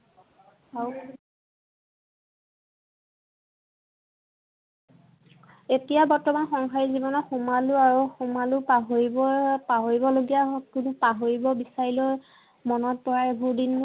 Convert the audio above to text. এতিয়া বৰ্তমান সংসাৰীক জীৱনত সোমালো, আৰু সোমালো। পাহৰিব, পাহৰিবলগীয়া হয়, কিন্তু পাহৰিব বিচাৰিলেও মনত পৰে এইবোৰ দিন।